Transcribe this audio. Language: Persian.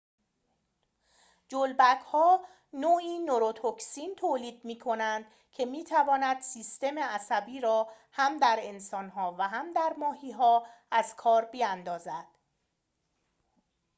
جلبک‌ها نوعی نوروتوکسین تولید می‌کنند که می‌تواند سیستم عصبی را هم در انسان‌ها و هم ماهی‌ها از کار بیاندازد